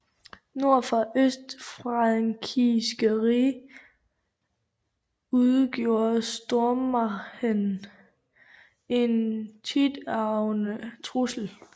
Nord for det østfrankiske rige udgjorde Stormähren en tiltagende trussel